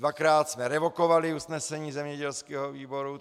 Dvakrát jsme revokovali usnesení zemědělského výboru.